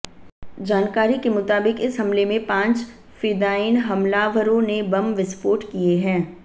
जानकारी के मुताबिक इस हमले में पांच फिदायीन हमलावरों ने बम विस्फोट किए हैं